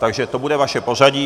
Takže to bude vaše pořadí.